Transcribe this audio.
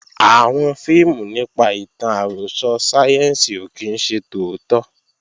Àwọn fíìmù nípa ìtàn àròsọ sáyẹ́ǹsì ò kí ń ṣe tòótọ́